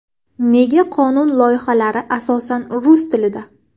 Nega qonun loyihalari asosan rus tilida?